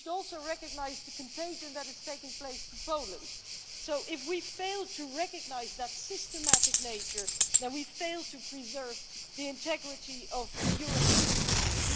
We should also recognise the contagion that is taking place in Poland, so if we fail to recognise that systematic nature then we fail to preserve the integrity of the European Union.